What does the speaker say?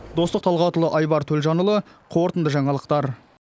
достық талғатұлы айбар төлжанұлы қорытынды жаңалықтар